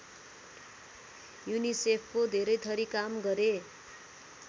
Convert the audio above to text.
युनिसेफको धेरैथरि काम गरे